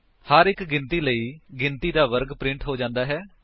ਹਰ ਇੱਕ ਚੱਕਰ ਲਈ ਗਿਣਤੀ ਦਾ ਵਰਗ ਪ੍ਰਿੰਟ ਹੋ ਜਾਂਦਾ ਹੈ